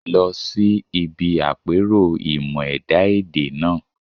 Lọ sí ibi àpérò ìmọ̀-ẹ̀dá èdè náà